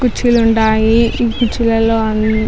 కుర్చీలు ఉండాయి ఈ కుర్చీలలో అంద --